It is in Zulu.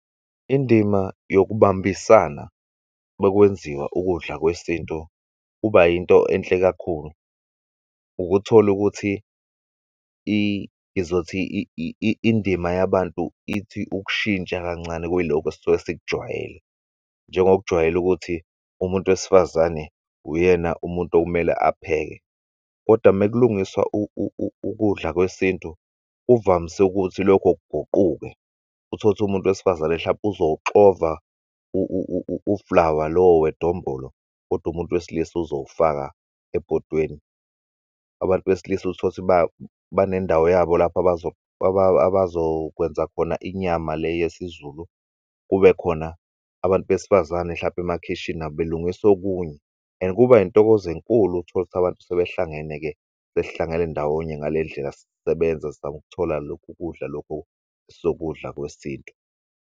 Indima yokubambisana makwenziwa ukudla kwesintu kuba yinto enhle kakhulu. Ukuthol'ukuthi ngizothi indima yabantu ithi ukushintsha kancane kwilokho esuke sikujwayele. Njengoba kujwayele ukuthi umuntu wesifazane uyena umuntu okumele apheke kodwa mekulungiswa ukudla kwesintu kuvamise ukuthi lokho kuguquke. Utholukuthi umuntu wesifazane hlampe uzowuxova u-flour lowo wedombolo kodwa umuntu wesilisa ozowufaka ebhodweni abantu besilisa utholukuthi banendawo yabo lapho abazokwenza khona inyama le yesiZulu kube khona abantu besifazane hlampe emakhishini nabo belungis'okunye. And kuba intokozo enkulu utholukuthi abantu sebehlangene-ke sesihlangene ndawonye ngalendlela sisebenza sizam'kuthola lokhu kudla lokhu sokudla kwesintu.